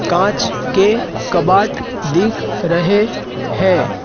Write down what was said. कांच के कबाट दिख रहें हैं।